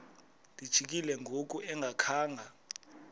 lijikile ngoku engakhanga